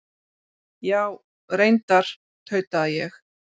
Já, reyndar, tauta ég.